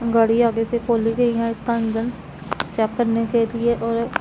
गाड़ी आगे से खोली गई है इसका इंजन चेक करने के लिए और--